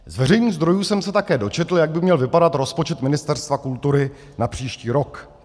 Z veřejných zdrojů jsem se také dočetl, jak by měl vypadat rozpočet Ministerstva kultury na příští rok.